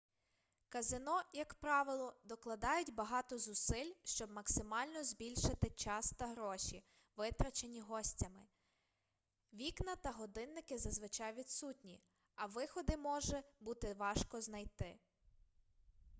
казино як правило докладають багато зусиль щоб максимально збільшити час та гроші витрачені гостями вікна та годинники зазвичай відсутні а виходи може бути важко знайти